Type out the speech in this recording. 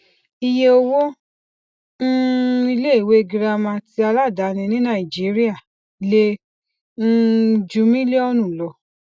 iye owó um ilé ìwé girama ti aladaani ní nàìjíríà lè um ju mílíọnù lọ